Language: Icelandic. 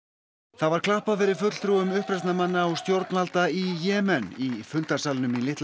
það var klappað fyrir fulltrúum uppreisnarmanna og stjórnvalda í Jemen í fundarsalnum í litla